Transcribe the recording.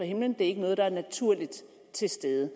himlen det er ikke noget der er naturligt til stede